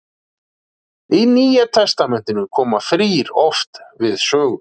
Í Nýja testamentinu koma þrír oft við sögu.